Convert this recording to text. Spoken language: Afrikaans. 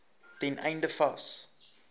ten einde vas